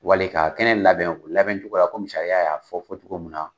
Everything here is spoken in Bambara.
Wali k'a kɛnɛ labɛn, o labɛn cogoyara komi sariya y'a fɔ fɔ cogo min na.